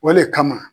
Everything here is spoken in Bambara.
O le kama